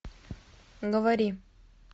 говори